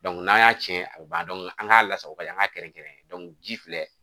n'an y'a cɛn a bɛ ban an k'a lasago ka ɲa an k'a kɛrɛnkɛrɛn ji filɛ